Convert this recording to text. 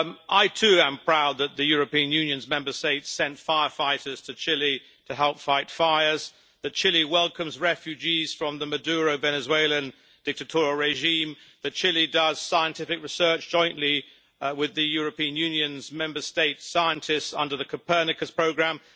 I too am proud that the European Union's Member States sent firefighters to Chile to help fight fires, that Chile welcomes refugees from the Maduro Venezuelan dictatorial regime and that Chile does scientific research jointly with the European Union's Member States' scientists under the Copernicus programme.